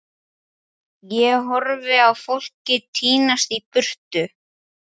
Og það er þá ekkert skárra þar með kýrnar?